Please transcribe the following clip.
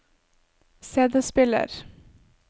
CD-spiller